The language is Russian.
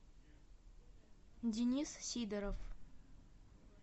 денис сидоров